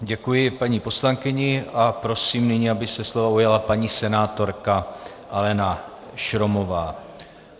Děkuji paní poslankyni a prosím nyní, aby se slova ujala paní senátorka Alena Šromová.